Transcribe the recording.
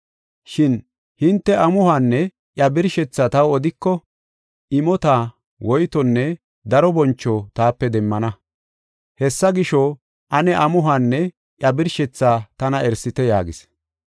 Shin hinte amuhuwanne iya birshethaa taw odiko, imota, woytonne daro boncho taape demmana. Hessa gisho, ane amuhuwanne iya birshethaa tana erisite” yaagis.